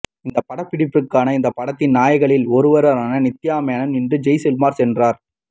இந்த படப்பிடிப்பிற்காக இந்த படத்தின் நாயகிகலில் ஒருவரான நித்யாமேனன் இன்று ஜெய்சல்மர் சென்றார்